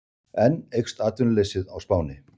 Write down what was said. Enn eykst atvinnuleysið á Spáni